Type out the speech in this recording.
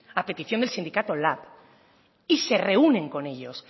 a petición del sindicato lab y se reúnen con ellos